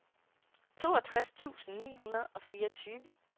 toogtres tusind ni hundrede og fireogtyve